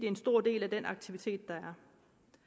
en stor del af den aktivitet der